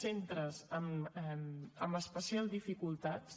centres amb especials dificultats